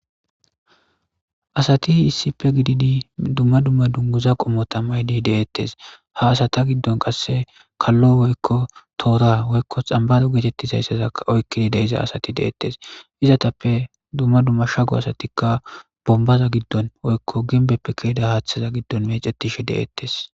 Asate issippe gided dumma dumma dungaza qommota mayide detes ha asta giddon qasse kallo woykko tora woykko xambaro getetizaysataka oyikeda astekka detes izatappe dumma dumma shakoysatika bombaza giddon woykko ginbeppe ke'za haththa giddon mec'teshe detes